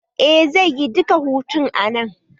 Eh zaiyi duka hutun sa a nan